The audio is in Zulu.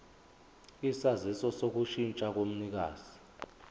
isaziso sokushintsha komnikazi